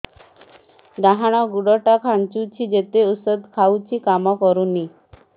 ଡାହାଣ ଗୁଡ଼ ଟା ଖାନ୍ଚୁଚି ଯେତେ ଉଷ୍ଧ ଖାଉଛି କାମ କରୁନି